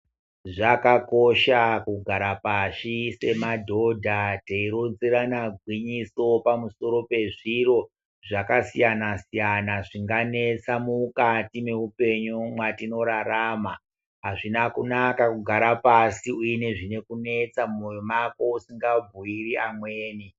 Zvakakosha kugara pashi semadhodha teironzerana gwinyiso pamusoro pezviro zvakasiyana-siyana. Zvinganetsa mukati mweupenyu mwatinorarama, hazvina kunaka kugara pasi uine zvinokunetsa mumoyo mako usingambuiri amweni.